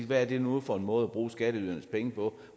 hvad det nu var for en måde at bruge skatteydernes penge på